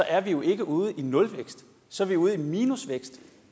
er vi jo ikke ude i nulvækst så er vi ude i minusvækst